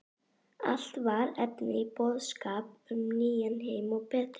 Allt var efni í boðskap um nýjan heim og betri